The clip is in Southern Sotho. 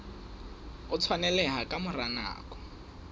o tshwaneleha ka mora nako